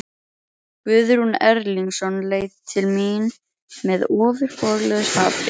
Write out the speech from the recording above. Guðrún Erlingsson leit til mín með ofboðslegu hatri.